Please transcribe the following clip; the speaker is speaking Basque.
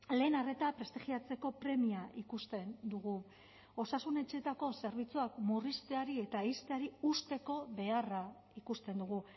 lehen arreta prestigiatzeko premia ikusten dugu osasun etxeetako zerbitzuak murrizteari eta ixteari uzteko beharra ikusten dugu